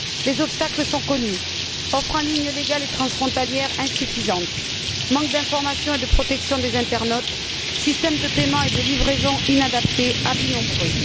Les obstacles sont connus offres en ligne légales et transfrontalières insuffisantes, manque d'information et de protection des internautes, systèmes de paiement et de livraison inadaptés, abus nombreux.